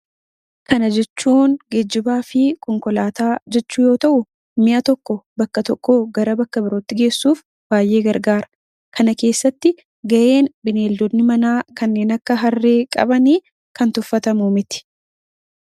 Kana jechuun konkolaataa yammuu ta'u, mi'a tokko bakka tokkoo fuudhee bakka biratti geejjibsiisuuf kan nama fayyaduudha. Kana keessattis ga'ee beeyaladoonni manaa kanneen akka Harree qaban kan tuffatamu miti.